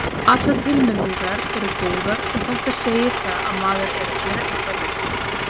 Allar tilnefningar eru góðar og þetta segir það að maður er að gera eitthvað rétt.